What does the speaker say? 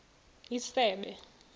isebe